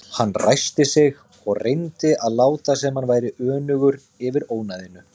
Hann ræskti sig og reyndi að láta sem hann væri önugur yfir ónæðinu.